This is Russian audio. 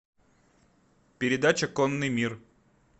передача конный мир